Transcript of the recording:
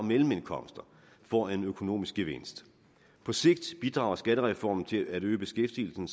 mellemindkomster får en økonomisk gevinst på sigt bidrager skattereformen til at øge beskæftigelsen